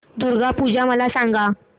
दुर्गा पूजा मला सांग